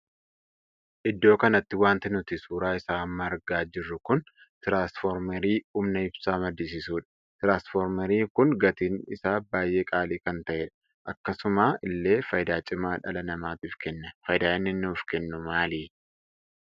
Iddoo kanatti wanti nuti suuraa isaa amma argaa jirru kun tiraanisformeerii humna ibsaa maddisiisuudha. tiraanisformeerii kun gatiin isaa baay'ee qaalii kan tahedha. akkasuma illee faayidaa cima dhala namaatiif kenna. faayidaan inni nuuf kennu maali?